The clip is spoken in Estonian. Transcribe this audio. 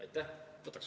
Aitäh!